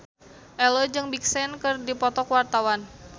Ello jeung Big Sean keur dipoto ku wartawan